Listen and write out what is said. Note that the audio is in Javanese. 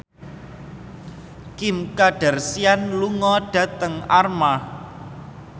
Kim Kardashian lunga dhateng Armargh